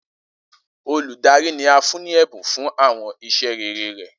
Oludari ni a fun ni ẹbun fun awọn iṣẹ rere rẹ.